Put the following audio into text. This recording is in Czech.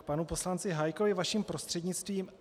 K panu poslanci Hájkovi vaším prostřednictvím.